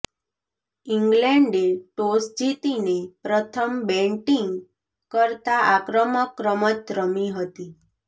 ઇંગ્લેન્ડે ટોસ જીતીને પ્રથમ બેટિંગ કરતા આક્રમક રમત રમી હતી